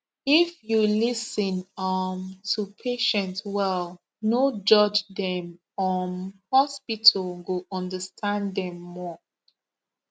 if you lis ten um to patient well no judge dem um hospital go understand dem more